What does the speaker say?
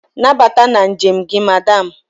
Nabata na njem gị Madam.